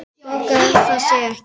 Borgar það sig ekki?